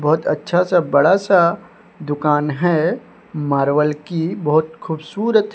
बहुत अच्छासा बड़ासा दुकान हैं मार्बल की बहोत खूबसूरत--